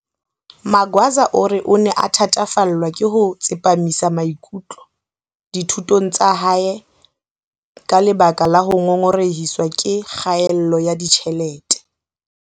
Magwaza o re o ne a thatafallwa ke ho tsepamisa maikutlo dithu tong tsa hae ka lebaka la ho ngongorehiswa ke kgaello ya ditjhelete.